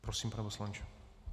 Prosím, pane poslanče.